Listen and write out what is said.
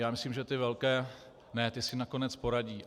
Já myslím, že ty velké ne, ti si nakonec poradí.